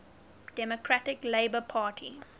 democratic labour party